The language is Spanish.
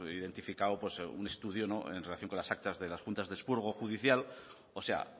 identificado un estudio en relación con las actas de las juntas de expurgo judicial o sea